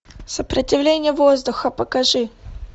сопротивление воздуха покажи